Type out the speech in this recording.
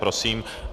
Prosím.